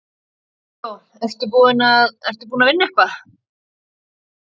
Viggó: Ertu búinn að, ertu búinn að vinna eitthvað?